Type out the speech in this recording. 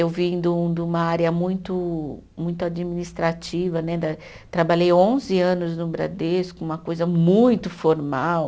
Eu vim de um de uma área muito muito administrativa né da, trabalhei onze anos no Bradesco, uma coisa muito formal,